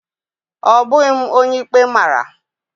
Ọ bụghị m onye ikpe mara